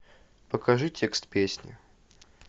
покажи текст песни